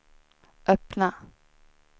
öppna